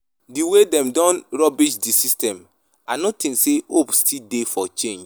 di way dem don rubbish di system, i no think say hope still dey for change.